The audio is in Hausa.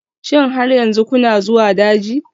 Shin har yanzu kuna zuwa daji?